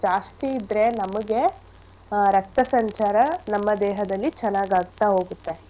ಜಾಸ್ತಿ ಇದ್ರೆ ನಮಿಗೆ ರಕ್ತ ಸಂಚಾರ ನಮ್ಮ ದೇಹದಲ್ಲಿ ಚೆನ್ನಾಗ್ ಆಗ್ತಾ ಹೋಗತ್ತೆ.